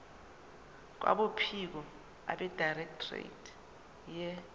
kwabophiko abedirectorate ye